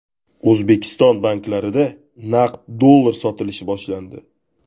O‘zbekiston banklarida naqd dollar sotilishi boshlandi.